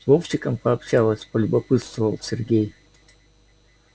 с вовчиком пообщалась полюбопытствовал сергей